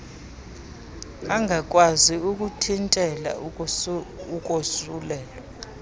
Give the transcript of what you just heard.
angakwazi ukuthintela ukosulelwa